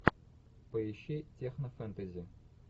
поищи технофэнтези